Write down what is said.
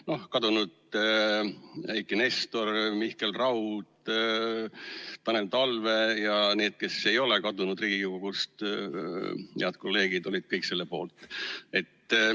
kadunud Eiki Nestor, Mihkel Raud, Tanel Talve ja need, kes ei ole Riigikogust kadunud, head kolleegid, olid kõik selle poolt.